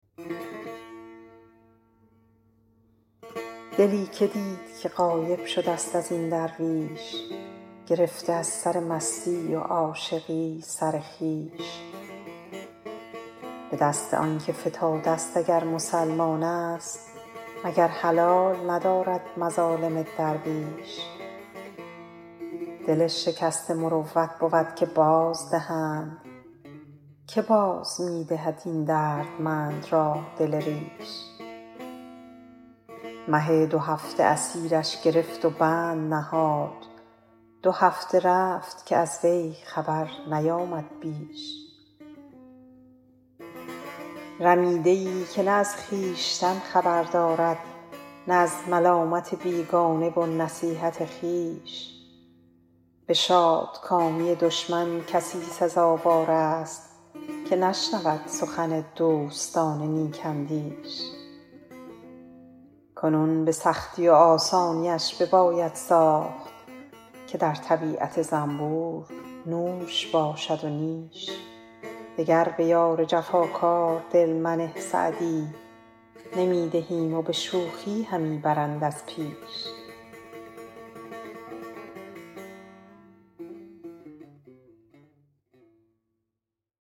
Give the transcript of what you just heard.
دلی که دید که غایب شده ست از این درویش گرفته از سر مستی و عاشقی سر خویش به دست آن که فتاده ست اگر مسلمان است مگر حلال ندارد مظالم درویش دل شکسته مروت بود که بازدهند که باز می دهد این دردمند را دل ریش مه دوهفته اسیرش گرفت و بند نهاد دو هفته رفت که از وی خبر نیامد بیش رمیده ای که نه از خویشتن خبر دارد نه از ملامت بیگانه و نصیحت خویش به شادکامی دشمن کسی سزاوار است که نشنود سخن دوستان نیک اندیش کنون به سختی و آسانیش بباید ساخت که در طبیعت زنبور نوش باشد و نیش دگر به یار جفاکار دل منه سعدی نمی دهیم و به شوخی همی برند از پیش